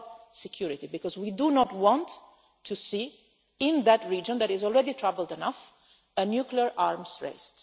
it is about security, because we do not want to see a region that is already troubled enough in a nuclear arms race.